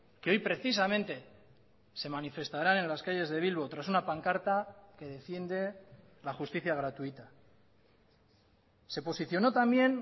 que hoy precisamente se manifestaran en las calles de bilbo tras una pancarta que defiende la justicia gratuita se posicionó también